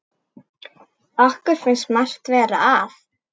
Okkur finnst margt vera að.